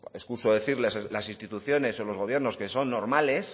excuso decirles las instituciones o los gobiernos que son normales